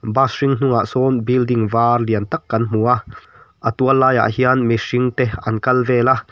bus hring hnungah sawn building var lian tak kan hmu a a tual laiah hian mihring te an kal vel a.